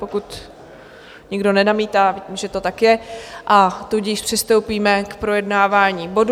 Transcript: Pokud nikdo nenamítá, vidím, že to tak je, a tudíž přistoupíme k projednávání bodů.